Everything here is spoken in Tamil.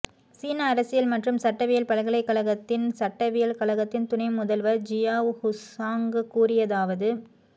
சீன அரசியல் மற்றும் சட்டவியல் பல்கலைக்கழகத்தின் சட்டவியல் கழகத்தின் துணை முதல்வர் ஜியாவ் ஹுங்சாங் கூறியதாவது